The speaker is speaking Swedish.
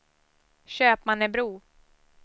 Köpmannebro